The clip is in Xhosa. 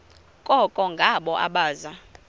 koko ngabo abaza